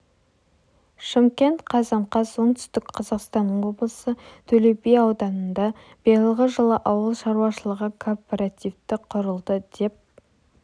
шымкент қазан қаз оңтүстік қазақстан облысы төле би ауданында биылғы жылы ауыл шаруашылығы кооперативі құрылды деп